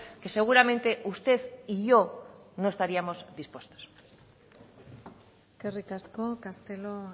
que seguramente usted y yo no estaríamos dispuestos eskerrik asko castelo